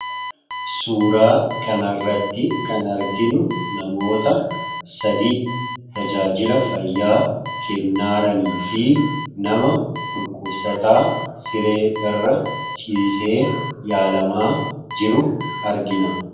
Suuraa kanarratti kan arginuu, namoota sadi tajaajila fayyaa kennaaraniifi nama dhukkubsataa siree irra ciisee yaalamaa jiru argina.